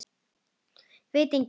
Veit enginn?